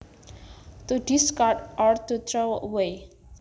To discard or to throw away